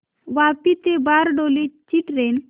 वापी ते बारडोली ची ट्रेन